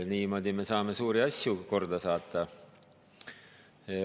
Niimoodi me saame suuri asju korda saata.